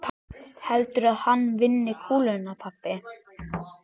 Heldurðu að hann vinni kúluna pabbi?